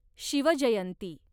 Shivjayanti